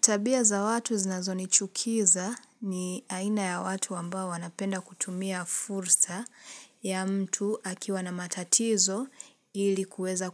Tabia za watu zinazo ni chukiza ni aina ya watu wambao wanapenda kutumia fursa ya mtu akiwa na matatizo ili kueza